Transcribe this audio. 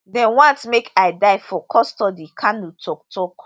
dem want make i die for custody kanu tok tok